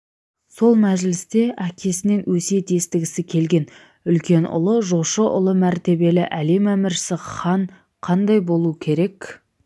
сол мәжілісте әкесінен өсиет естігісі келген үлкен ұлы жошы ұлы мәртебелі әлем әміршісі хан қандай болу керек